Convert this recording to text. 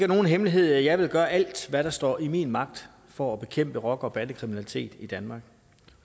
nogen hemmelighed at jeg vil gøre alt hvad der står i min magt for at bekæmpe rocker bande kriminalitet i danmark